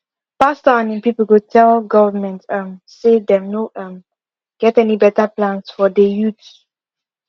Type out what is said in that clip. pastor and im people go tell government um say them no um get any better plans for dey youth